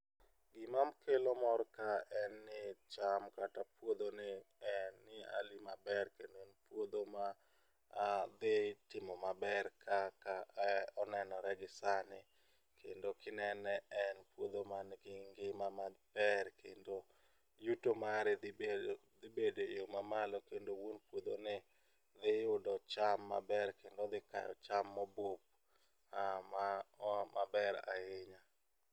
Gima kelo mor ka en ni cham kata puodho ni en ni hali maber kendo puodho ma dhi timo maber kaka onenore gi sani kendo kinene en puodho man gi ngima maber kendo yuto mari dhi bedo dhi bede yoo mamalo kendo wuon puodho ni dhi yudo cham maber kendo odhi kayo cham mobuk ma oa maber ahinya.